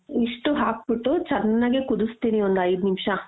ಇಷ್ಟೂ ಹಾಕ್ಬಿಟ್ಟು ಚೆನ್ನಾಗೆ ಕುದುಸ್ತೀನಿ ಒಂದ್ ಐದು ನಿಮಿಷ .